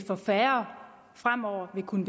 kunne